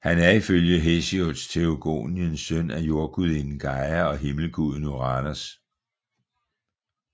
Han er ifølge Hesiods Theogonien søn af jordgudinden Gaia og himmelguden Uranos